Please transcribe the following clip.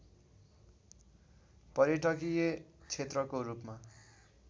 पर्यटकीय क्षेत्रको रूपमा